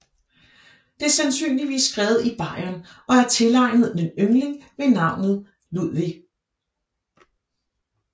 Det er sandsynligvis skrevet i Bayern og er tilegnet en yngling ved navn Ludwig